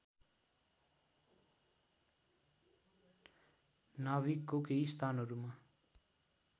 नाभिकको केही स्थानहरूमा